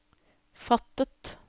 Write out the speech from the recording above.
fattet